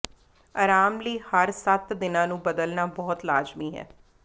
ਆਰਾਮ ਲਈ ਹਰ ਸੱਤ ਦਿਨਾਂ ਨੂੰ ਬਦਲਣਾ ਬਹੁਤ ਲਾਜ਼ਮੀ ਹੈ